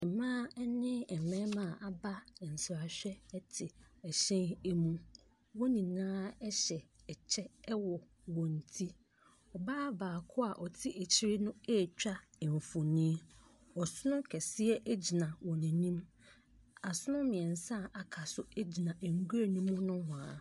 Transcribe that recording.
Mmaa ne mmarima aba nsrahwɛ te hyɛn mu. Wɔn nyinaa hyɛ kyɛ wɔ wɔn ti. Ɔbaa bako a ɔte akyire retwa mfoni. Ɔsono kɛseɛ gyina wɔn anim. Asono mmiɛnsa a aka no gyina nwura no mu nohwaa.